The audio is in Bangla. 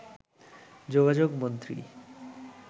যোগাযোগ মন্ত্রী